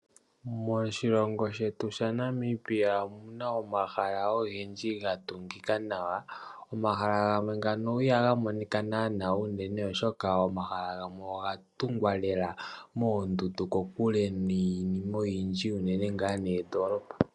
Moshilongo shetu sha Namibia omuna omahala ogendji gatungika nawa. Omahala gamwe ngano ihaga monika naana uunene, oshoka omahala gamwe oga tungwa lela moondundu kokule lela niinima oyindji uunene ngaa noondolopa